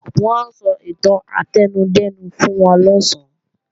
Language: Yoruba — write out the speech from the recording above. Wọ́n ó sọ ìtàn átẹnudẹ́nu fún wa lọ̀sán